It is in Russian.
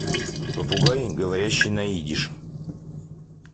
попугай говорящий на идиш